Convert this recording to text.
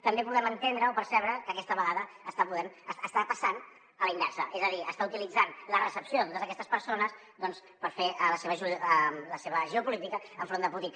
també podem entendre o percebre que aquesta vegada està passant a la inversa és a dir està utilitzant la recepció de totes aquestes persones per fer la seva geopolítica enfront de putin